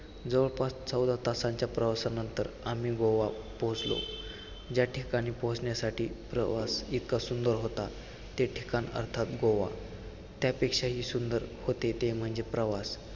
जवळपास चौदा तासांच्या प्रवासाच्यानंतर आम्ही गोवा पोहोचलो, ज्याठिकाणी पोहोचण्यासाठी प्रवास इतका सुंदर होता, ते ठिकाण अर्थात गोवा, त्यापेक्षाही सुंदर होते ते म्हणजे प्रवास